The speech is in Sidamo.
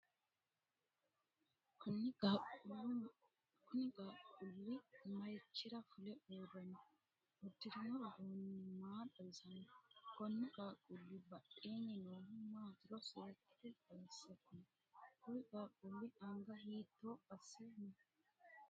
Kunni qaaqquuli marichira fule uure no? Udirino uduunni maa xawisano? Konni qaaquuli badheenni noohu maatiro seekite xawise kuli? Kuri qaaquuli anga hiitto ase no?